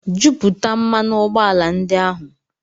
Jupụta mmanụ ụgbọala ndị ahụ